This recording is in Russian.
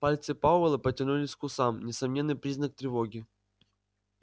пальцы пауэлла потянулись к усам несомненный признак тревоги